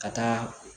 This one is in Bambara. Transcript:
Ka taa